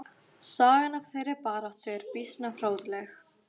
Sagan af þeirri baráttu er býsna fróðleg.